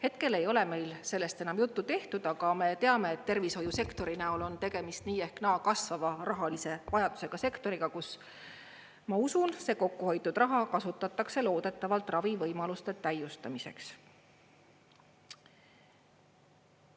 Hetkel ei ole meil sellest enam juttu tehtud, aga me teame, et tervishoiusektori näol on tegemist nii ehk naa kasvava rahalise vajadusega sektoriga, kus, ma usun, see kokkuhoitud raha kasutatakse loodetavalt ravivõimaluste täiustamiseks.